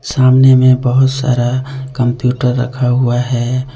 सामने में बहुत सारा कंप्यूटर रखा हुआ है।